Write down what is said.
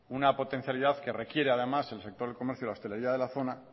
una potencialidad que requiere además el sector del comercio y de hostelería de la zona